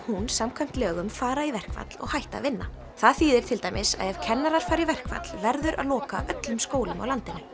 hún samkvæmt lögum fara í verkfall og hætta að vinna það þýðir til dæmis að ef kennarar fara í verkfall verður að loka öllum skólum á landinu